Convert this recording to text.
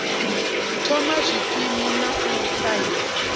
thoma zwikimu na u ṱahisa